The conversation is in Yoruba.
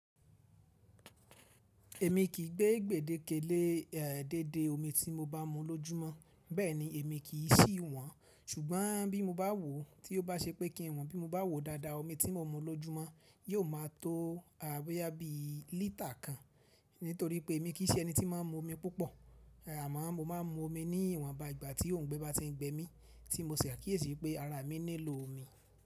Èmi kì í gbé gbedéke le deede omi tí mo bá mu lọ́júmọ́, bẹ́ẹ̀ ni èmi kì í sì wọ́n. Ṣùgbọ́n bí mo bá wò ó, tí ó bá ṣe pé kí n wò bí mo bá wò dáadáa omi tí mo n mu lọ́júmọ́ yóò máa tó boyá bí lítà kan. Nítorí pé emi kì í ṣe ẹni tí máa ń mu omi púpọ̀. Àmọ́ mo máa ń mu omi ní ìwọ̀nba ìgbà tí òhungbe bá ti ń gbẹ mí tí mo ṣẹ̀ àkíyèsí wipé ara mi nílò omi.